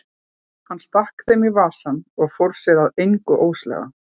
Hann stakk þeim í vasann og fór sér að engu óðslega.